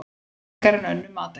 Frekar en önnur matargerð.